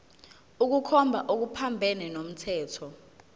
ukukhomba okuphambene nomthetho